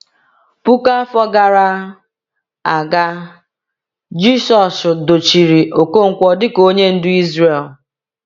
Puku afọ gara aga, Jisọshụ dochiri Okonkwo dịka onye ndu Izrel.